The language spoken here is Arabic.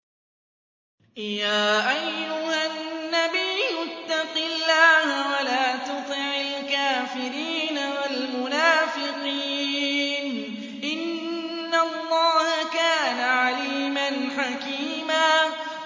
يَا أَيُّهَا النَّبِيُّ اتَّقِ اللَّهَ وَلَا تُطِعِ الْكَافِرِينَ وَالْمُنَافِقِينَ ۗ إِنَّ اللَّهَ كَانَ عَلِيمًا حَكِيمًا